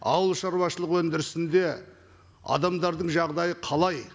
ауыл шаруашылығы өндірісінде адамдардың жағдайы қалай